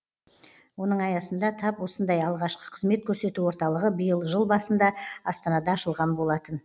оның аясында тап осындай алғашқы қызмет көрсету орталығы биыл жыл басында астанада ашылған болатын